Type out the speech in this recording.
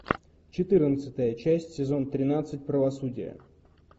четырнадцатая часть сезон тринадцать правосудие